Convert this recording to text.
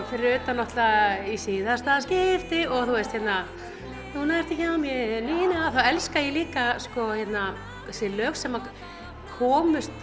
fyrir utan náttúrulega í síðasta skipti og núna ertu hjá mér Nína þá elska ég líka þessi lög sem komust